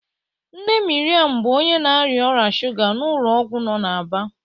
Nne Miriam bụ onye na-arịa ọrịa shuga n'ụlọ ọgwụ no na Aba.